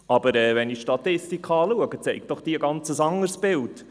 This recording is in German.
Aber die Statistik zeigt ein ganz anderes Bild.